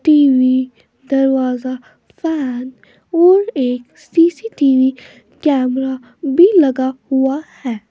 TV दरवाजा fan और एक सी_सी_टी_वी कैमरा भी लगा हुआ है।